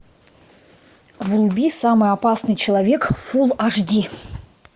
вруби самый опасный человек фул аш ди